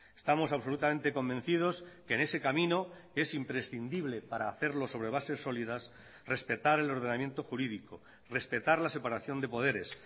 estamos absolutamente convencidos que en ese camino es imprescindible para hacerlo sobre bases sólidas respetar el ordenamiento jurídico respetar la separación de poderes